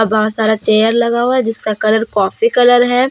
बहुत सारा चेयर लगा हुआ जिसका कलर कॉफी कलर है।